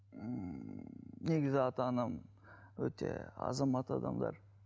ііі негізі ата анам өте азамат адамдар